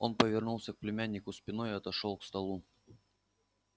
он повернулся к племяннику спиной и отошёл к столу